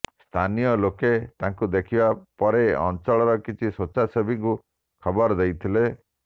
ସ୍ଥାନୀୟ ଲୋକେ ତାଙ୍କୁ ଦେଖିବା ପରେ ଅଞ୍ଚଳର କିଛି ସ୍ୱେଚ୍ଛାସେବୀଙ୍କୁ ଖବର ଦେଇଥିଲେ